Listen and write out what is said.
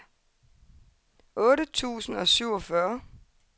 otte tusind og syvogfyrre